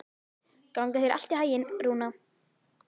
Gangi þér allt í haginn, Rúna.